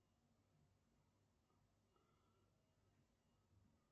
сбер включи умных детей